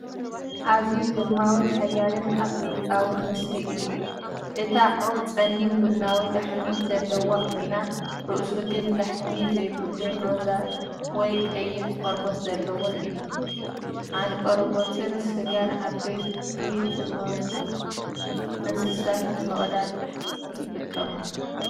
ኣዝዩ ግርማዊን ሓያልን ኣፍሪቃዊ ንስሪ እዩ! እታ ዑፍ ጸሊም ቡናዊ ላሕሚ ዘለዋ ኮይና፡ ርእሱ ግን ላሕሚ ዘይብሉን ሮዛ ወይ ቀይሕ ቆርበት ዘለዎን እዩ። ዓ ንቆርበትን ስጋን ዓበይቲ ዝሞቱ እንስሳታት ንምቕዳድ ይጥቀመሉ።